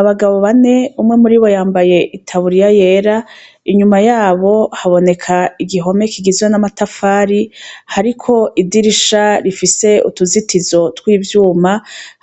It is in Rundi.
Abagabo bane umwe muribo yambaye itaburiya yera inyuma yabo haboneka igihome kigizwe n'amatafari hariko idirisha rifise utuzitizo tw'ivyuma